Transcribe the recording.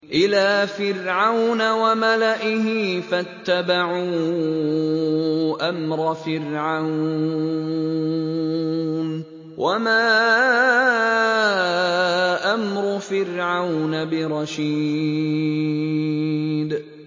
إِلَىٰ فِرْعَوْنَ وَمَلَئِهِ فَاتَّبَعُوا أَمْرَ فِرْعَوْنَ ۖ وَمَا أَمْرُ فِرْعَوْنَ بِرَشِيدٍ